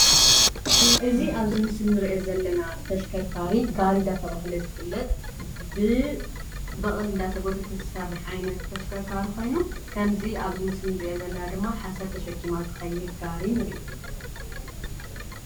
እዚ ኣብዚ ምስል እንርእዮ ዘለና ተሽከርካሪ ጋሪ እንዳተባሃለ ዝፍለጥ ብበቅሊ እንዳተጎተተ ዝሰርሕ ዓይነት ተሽከርካሪ ኮይኑ ከምዚ ኣብዚ ምስሊ እንርእዮ ዘለና ድማ ሓሰር ተሸኪማ ትከይድ ጋሪ ንርኢ።